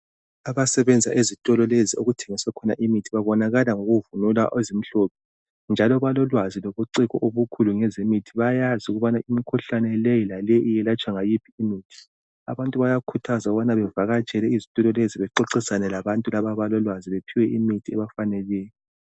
Abasebenza ezitolo lezi okuthengiswa khona imithi babonakala ngokuvunula ezimhlophe njalo balolwazi lobuciko obukhulu ngezemithi bayazi ukubana imikhuhlane la leyi iyelatshwa ngayiphiimitji abantu bayakhuthaza bevakatshele izitolo lezi bexoxisane labantu laba abalolwazi bephiwe imithi efaneleyo.